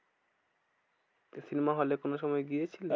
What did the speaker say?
Cinema hall এ কোনো সময় গিয়েছিলে?